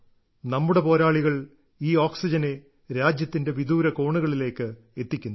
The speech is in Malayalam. നമ്മുടെ പോരാളികൾ ഈ ഓക്സിജനെ രാജ്യത്തിന്റെ വിദൂര കോണുകളിലേക്ക് എത്തിക്കുന്നു